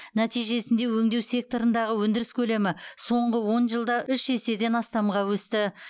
нәтижесінде өндеу секторындағы өндіріс көлемі соңғы он жылда үш еседен астамға өсті